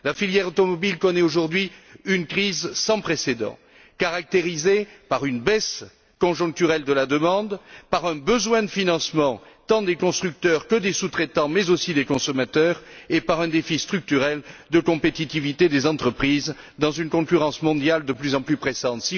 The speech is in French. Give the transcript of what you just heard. La filière automobile connaît aujourd'hui une crise sans précédent, caractérisée par une baisse conjoncturelle de la demande, par un besoin de financement, tant des constructeurs que des sous traitants, mais aussi des consommateurs, et par un défi structurel de compétitivité des entreprises dans une concurrence mondiale de plus en plus pressante.